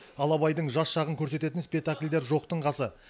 ал абайдың жас шағын көрсететін спектакльдер жоқтың қасы